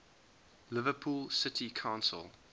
liverpool city council